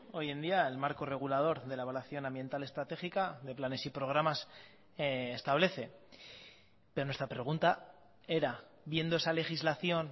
hoy en día el marco regulador de la evaluación ambiental estratégica de planes y programas establece pero nuestra pregunta era viendo esa legislación